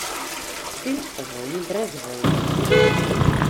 Film o vojni brez vojne.